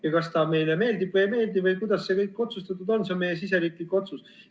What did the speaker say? Ja kas ta meile meeldib või ei meeldi või kuidas see kõik otsustatud on, see on meie siseriiklik otsus.